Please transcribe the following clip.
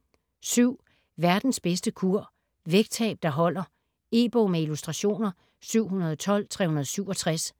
Verdens bedste kur: vægttab der holder E-bog med illustrationer 712367